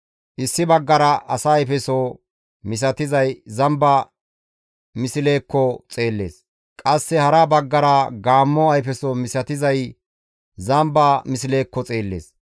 Issi baggara asa ayfeso misatizay zamba mislezaakko xeellees; qasse hara baggara gaammo ayfeso misatizay zamba mislezaakko xeellees.